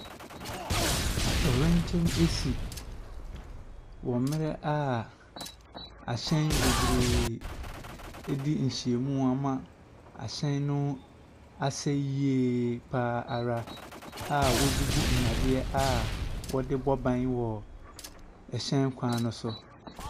Atɔwrɛnkyɛm ɛsi wɔ mmrɛ a ahyɛn bebree ɛdi nhyia mu ama ahyɛn no asaeɛ yie paa ara a wobubu nnadeɛ a wɔde bɔ ban wɔ ɛhyɛn kwan so.